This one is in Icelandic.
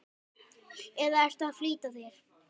eða ertu að flýta þér?